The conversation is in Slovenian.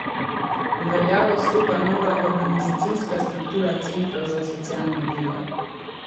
V veljavo stopa nova organizacijska struktura centrov za socialno delo.